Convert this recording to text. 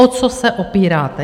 O co se opíráte?